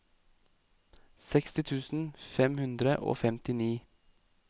seksti tusen fem hundre og femtini